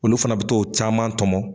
Olu fana bɛ to caman tɔmɔn.